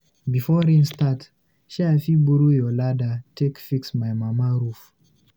Before rain go start, shey I fit borrow your ladder take fix my mama roof?